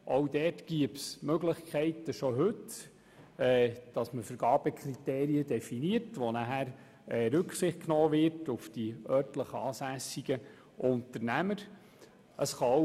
Auch hier bestünden bereits heute Möglichkeiten, Vergabekriterien zu definieren, gestützt auf welche auf die örtlich ansässigen Unternehmer Rücksicht zu nehmen wäre.